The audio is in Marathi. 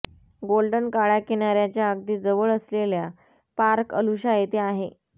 गोल्डन काळ्या किनार्याच्या अगदी जवळ असलेल्या पार्क अलुशा येथे आहे